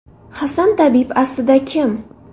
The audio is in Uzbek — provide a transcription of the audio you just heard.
Hasan tabib aslida kim?